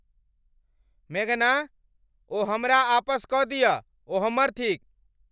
मेघना, ओ हमरा आ पस कऽ दिय। ओ हमर थीक !